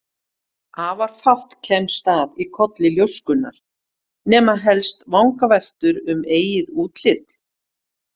Afar fátt kemst að í kolli ljóskunnar, nema helst vangaveltur um eigið útlit.